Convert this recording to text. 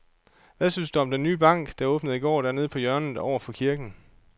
Hvad synes du om den nye bank, der åbnede i går dernede på hjørnet over for kirken?